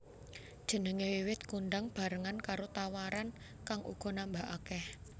Jenengé wiwit kondhang bebarengan karo tawaran kang uga nambah akèh